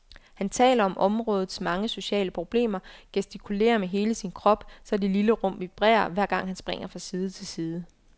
Han taler om områdets mange sociale problemer, gestikulerer med hele sin krop, så det lille rum vibrerer, hver gang han springer fra side til side.